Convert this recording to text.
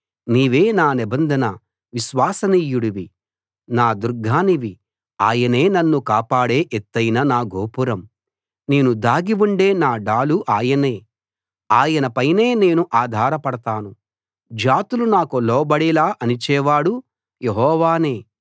నీవే నా నిబంధన విశ్వసనీయుడివి నా దుర్గానివి ఆయనే నన్ను కాపాడే ఎత్తయిన నా గోపురం నేను దాగి ఉండే నా డాలు ఆయనే ఆయన పైనే నేను ఆధారపడతాను జాతులు నాకు లోబడేలా అణిచేవాడు యెహోవానే